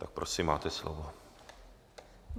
Tak prosím, máte slovo.